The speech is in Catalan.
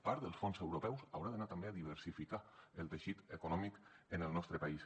part dels fons europeus hauran d’anar també a diversificar el teixit econòmic en el nostre país